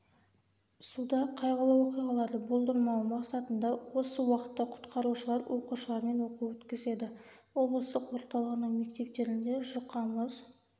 суда қайғылы оқиғаларды болдырмау мақсатында осы уақытта құтқарушылар оқушылармен оқу өткізеді облыстық орталығының мектептерінде жұқа мұз